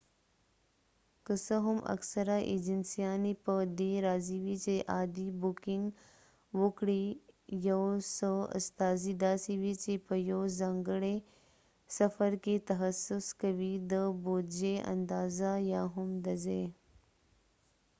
که څه هم اکثره ایجنسیانی په دي راضی وي چې عادي بوکنګ وکړي یو څه استازي داسې وي چې په یو ځانګړی سفر کې تخصص کوي د بودجې اندازه یا هم د ځای